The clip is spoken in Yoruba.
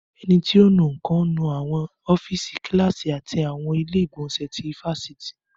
Ẹni tí ò ń nu nǹkan ń nu àwọn ọ́fíìsì, Kíláàsì àti àwọn ilé ìgbọ̀nsẹ̀ ti ifásitì